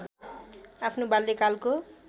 आफ्नो बाल्यकालको